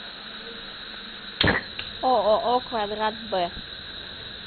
ооо квадрат б